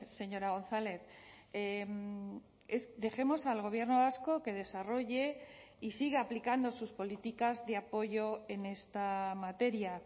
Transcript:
señora gonzález dejemos al gobierno vasco que desarrolle y siga aplicando sus políticas de apoyo en esta materia